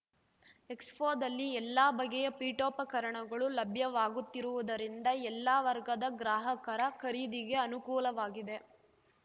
ಎಕ್ಸ್‌ಫೋದಲ್ಲಿ ಎಲ್ಲ ಬಗೆಯ ಪೀಠೋಪಕರಣಗಳು ಲಭ್ಯವಾಗುತ್ತಿರುವುದರಿಂದ ಎಲ್ಲ ವರ್ಗದ ಗ್ರಾಹಕರ ಖರೀದಿಗೆ ಅನುಕೂಲವಾಗಿದೆ